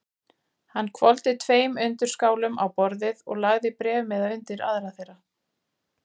Hann hvolfdi tveim undirskálum á borðið og lagði bréfmiða undir aðra þeirra.